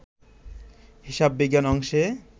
হিসাববিজ্ঞান অংশে